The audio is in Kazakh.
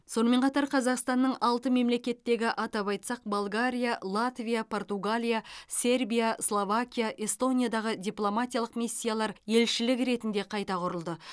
сонымен қатар қазақстанның алты мемлекеттегі атап айтсақ болгария латвия португалия сербия словакия эстониядағы дипломатиялық миссиялар елшілік ретінде қайта құрылды